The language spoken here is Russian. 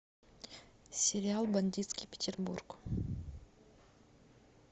сериал бандитский петербург